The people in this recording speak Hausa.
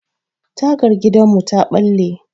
Tagar gidanmu ta ɓalle.